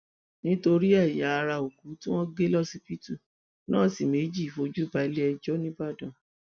nítorí ẹyà ara òkú tí wọn gé lọsibítù nọọsì méjì fojú balẹẹjọ ńìbàdàn